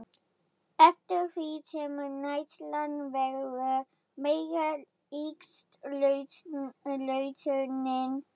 Eftir því sem neyslan verður meiri eykst losunin.